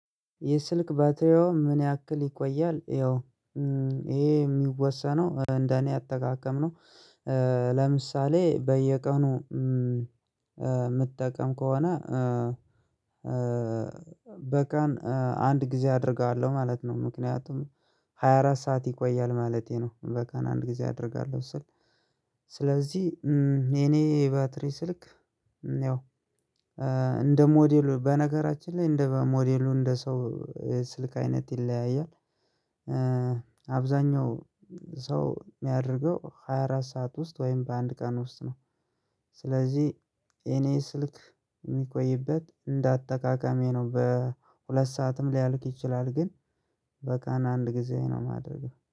የስልክ ባትሪዎ ምን ያክል ይቆያል? ያው ይህ የሚወሰነው እንደ እኔ አጠቃቀም ነው ለምሳሌ በየቀኑ የምጠቀም ከሆነ በቀን አንድ ጊዜ አደርጋለሁ ማለት ነው። ምክንያቱም ሃያ አራት ሰዓት ይቆያል ማለቴ ነው በቃ አንድ ጊዜ አደርጋለሁ ስል ስለዚህ የእኔ ባትሪ ስልክ ያው እንደ ሞደሉ በነገራችን ላይ እንደ ሞደሉ እንደ ሰው የስልክ አይነት ይለያያል አብዛኛው ሰው የሚያደርገው ሃያ አራት ሰዓት ውስጥ ወይም በአንድ ቀን ውስጥ ነው ስለዚህ የእኔ ስልክ የሚቆይበት እንደ አጠቃቀሜ ነው በሁልት ሰዓት ውስጥ ሊያልቅ ይችላል ግን በቀን አንድ ጊዜ ነው የማደርገው